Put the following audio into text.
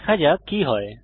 দেখা যাক কি হয়